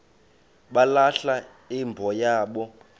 balahla imbo yabo